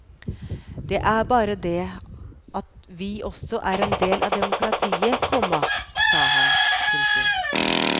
Det er bare det at vi også er del av demokratiet, komma sa han. punktum